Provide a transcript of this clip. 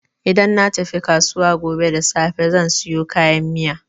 Idan na tafi kasuwa gobe da safe zan sayo kayan miya.